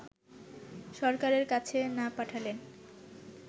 সরকারের কাছে না পাঠালে